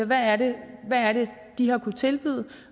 hvad det er de har kunnet tilbyde